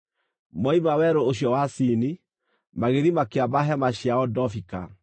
Moima werũ ũcio wa Sini, magĩthiĩ makĩamba hema ciao Dofika.